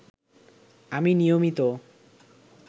আমি নিয়মিত